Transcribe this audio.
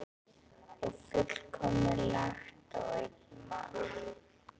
Og fullmikið lagt á einn mann.